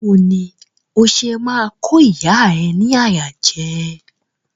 Bawo ni o ṣe ma ko ìyá ẹ ni àyà jẹ?